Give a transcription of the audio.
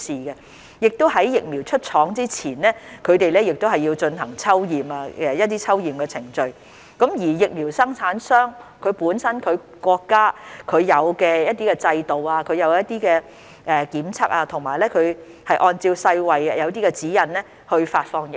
同時，在疫苗出廠前，疫苗生產商亦要進行一些抽驗的程序。他們會遵循本身國家所設有的制度進行檢測，以及按照世衞的一些指引來發放疫苗。